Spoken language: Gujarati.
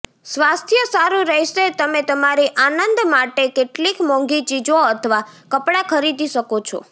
સ્વાસ્થ્ય સારું રહેશે તમે તમારી આનંદ માટે કેટલીક મોંઘી ચીજો અથવા કપડાં ખરીદી શકો છો